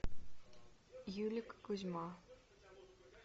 юлик кузьма